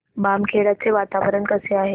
बामखेडा चे वातावरण कसे आहे